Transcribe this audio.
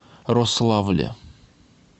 рославле